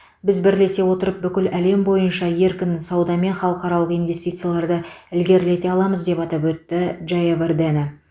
біз бірлесе отырып бүкіл әлем бойынша еркін сауда мен халықаралық инвестицияларды ілгерілете аламыз деп атап өтті джаявардена